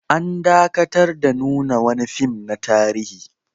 An dakatar da nuna wani fim na tarihi